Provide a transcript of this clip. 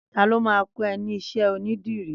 Tàló mà kọ ẹ ni iṣẹ ónìdìrí?